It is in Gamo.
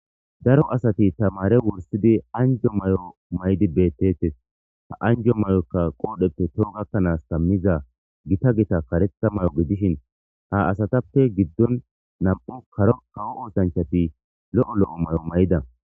daro asati tamare wursidi anjo mayo maydi bettetes ha anjo mayokka qoodheppe too gakkanaas kammiza gita gita karetha mayo gidishin ha asatappe giddon nam'u karo kawo oosanchati lo'o lo'o mayo mayida